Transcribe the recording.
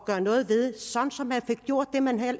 gøre noget ved så man fik gjort det man